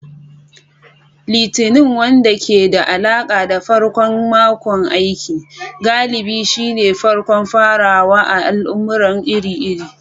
Litinin, wanda ke da alaƙa da farkon makon aiki, galibi shine farkon farawa na al'amura iri-iri.